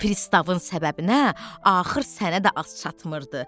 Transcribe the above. Pristavın səbəbinə axır sənə də az çatmırdı.